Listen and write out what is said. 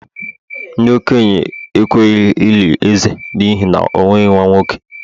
ndi-okenye ekweghi-eli eze n'ihi na o nweghi nwa-nwoke